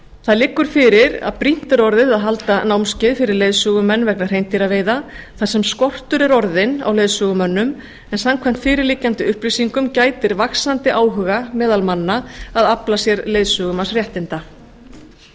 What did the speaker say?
það liggur fyrir að brýnt er orðið að halda námskeið fyrir leiðsögumenn vegna hreindýraveiða þar sem skortur er orðinn á leiðsögumönnum en samkvæmt fyrirliggjandi upplýsingum gætir vaxandi áhuga meðal manna að afla sér leiðsögumannsréttinda